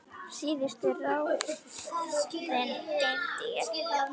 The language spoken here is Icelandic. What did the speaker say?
Síðustu ráðin geymi ég.